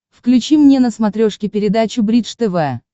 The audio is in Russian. включи мне на смотрешке передачу бридж тв